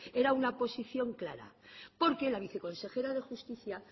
era una posición clara porque la viceconsejera de justicia